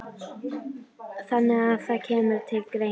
Þannig að það kemur til greina?